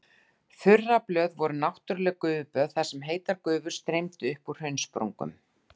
Þurraböð voru náttúrleg gufuböð þar sem heitar gufur streymdu upp úr hraunsprungum.